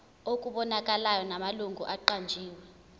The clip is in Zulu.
okubonakalayo namalungu aqanjiwe